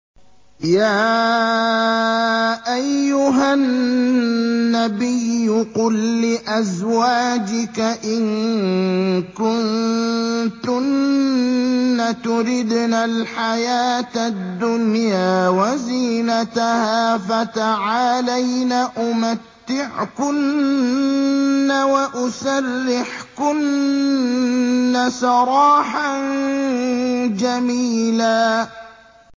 يَا أَيُّهَا النَّبِيُّ قُل لِّأَزْوَاجِكَ إِن كُنتُنَّ تُرِدْنَ الْحَيَاةَ الدُّنْيَا وَزِينَتَهَا فَتَعَالَيْنَ أُمَتِّعْكُنَّ وَأُسَرِّحْكُنَّ سَرَاحًا جَمِيلًا